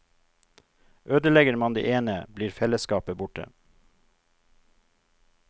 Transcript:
Ødelegger man det ene, blir felleskapet borte.